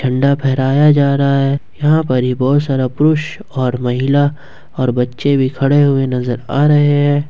झंडा फहराया जा रहा है यहां पर बहोत सारा पुरुष और महिला और बच्चे भी खड़े हुए नजर आ रहे हैं।